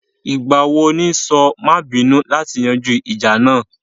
Ìgbà wo ní sọ má à bínú láti yanjú ìjà náà?